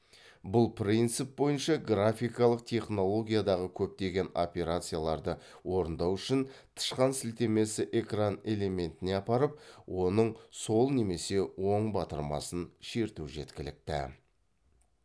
бұл принцип бойынша графикалық технологиядағы көптеген операцияларды орындау үшін тышқан сілтемесі экран элементіне апарып оның сол немесе оң батырмасын шерту жеткілікті